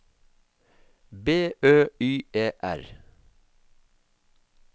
B Ø Y E R